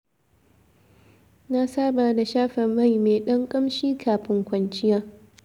Na saba da shafa mai me ɗan ƙamshi kafin kwanciya.